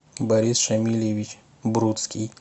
борис шамильевич бруцкий